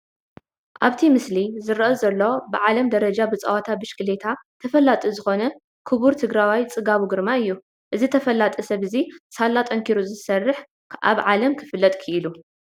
ኣብቲ ምስሊ ዝረአ ዘሎ ብዓለም ደረጃ ብፀወታ ብሽክሌታ ተፈላጢ ዝኾነ ኩቡር ትግራዋይ ፅጋቡ ግርማይ እዩ፡፡ እዚ ተፈላጢ ሰብ እዚ ሳላ ጠንኪሩ ዝሰርሕ ኣብ ዓለም ክፍለጥ ኪኢሉ፡፡